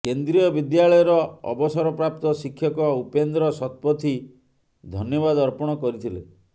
କେନ୍ଦ୍ରିୟ ବିଦ୍ୟାଳୟର ଅବସରପ୍ରାପ୍ତ ଶିକ୍ଷକ ଉପେନ୍ଦ୍ର ଶତପଥୀ ଧନ୍ୟବାଦ ଅର୍ପଣ କରିଥିଲେ